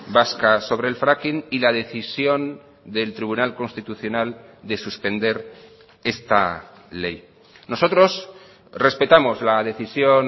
vasca sobre el fracking y la decisión del tribunal constitucional de suspender esta ley nosotros respetamos la decisión